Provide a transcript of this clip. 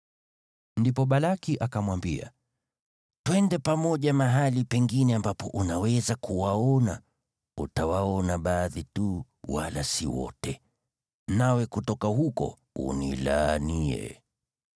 Ndipo Balaki akamwambia, “Twende pamoja mahali pengine ambapo unaweza kuwaona; utawaona baadhi tu wala si wote. Nawe kutoka huko, unilaanie hao.”